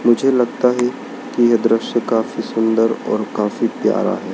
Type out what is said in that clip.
मुझे लगता है कि यह दृश्य काफी सुंदर और काफी प्यारा है।